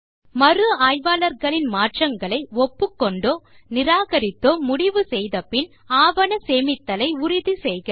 மறு ஆய்வாளர்களின் மாற்றங்களை ஒப்புக்கொண்டோ நிராகரித்தோ முடிவு செய்தபின் ஆவண சேமித்தலை உறுதி செய்க